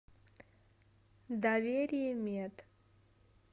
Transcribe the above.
довериемед